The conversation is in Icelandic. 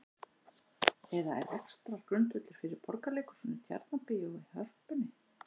Eða er rekstrargrundvöllur fyrir Borgarleikhúsinu, Tjarnarbíói, Hörpunni?